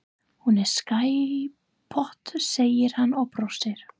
Flóðhesturinn og hrífuskaftið fóru hamförum í vatnsrennibrautinni.